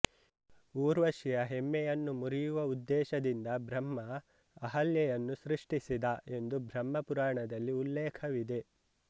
ಊರ್ವಶಿಯ ಹೆಮ್ಮೆಯನ್ನು ಮುರಿಯುವ ಉದ್ದೇಶದಿಂದ ಬ್ರಹ್ಮ ಅಹಲ್ಯೆಯನ್ನು ಸೃಷ್ಟಿಸಿದ ಎಂದು ಬ್ರಹ್ಮ ಪುರಾಣದಲ್ಲಿ ಉಲ್ಲೇಖವಿದೆ